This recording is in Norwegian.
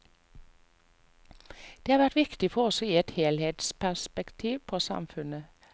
Det har vært viktig for oss å gi et helhetsperspektiv på samfunnet.